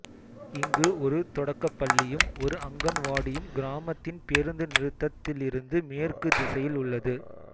இங்கு ஒரு தொடக்கப்பள்ளியும் ஒரு அங்கன்வாடியும் கிராமத்தின் பேருந்து நிறுத்தத்திலிருந்துமேற்கு திசையில் உள்ளது